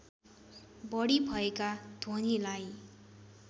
बढी भएका ध्वनिलाई